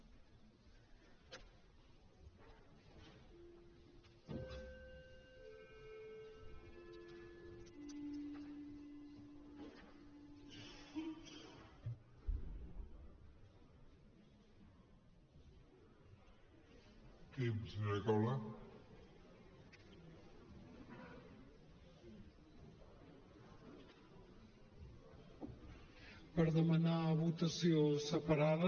per demanar votació separada